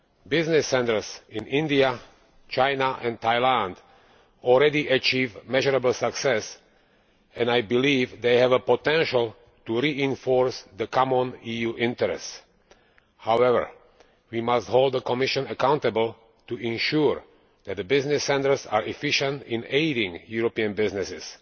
Business centres in India, China and Thailand already achieve measurable success, and I believe they have a potential to reinforce common EU interests. However, we must hold the Commission accountable to ensure that the business centres are efficient in aiding European businesses.